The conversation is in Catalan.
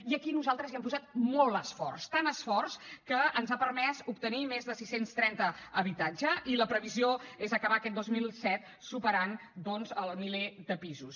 i aquí nosaltres hi hem posat molt esforç tant esforç que ens ha permès obtenir més de sis cents i trenta habitatges i la previsió és acabar aquest dos mil disset superant doncs el miler de pisos